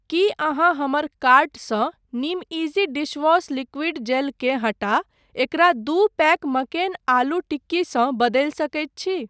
की अहाँ हमर कार्टसँ निमइजी डिशवॉश लिक्विड जेल केँ हटा एकरा दू पैक मक्केन आलू टिक्की सँ बदलि सकैत छी ?